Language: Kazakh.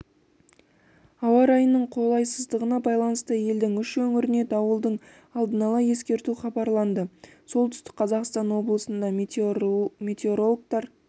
ауа райының қолайсыздығына байланысты елдің үш өңіріне дауылды алдын ала ескерту хабарланды солтүстік қазақстан облысында метеорологтар